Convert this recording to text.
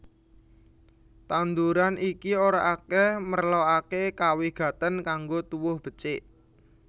Tanduran iki ora akèh merlokaké kawigatèn kanggo tuwuh becik